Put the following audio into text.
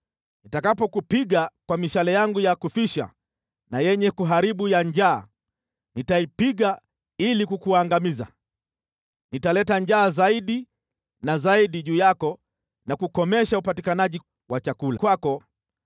Nitakapokupiga kwa mishale yangu ya kufisha na yenye kuharibu ya njaa, nitaipiga ili kukuangamiza. Nitaleta njaa zaidi na zaidi juu yako na kukomesha upatikanaji wa chakula kwako.